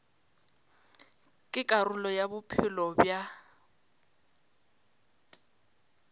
ke karolo ya bophelo bja